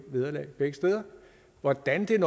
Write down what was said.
vederlag begge steder hvordan det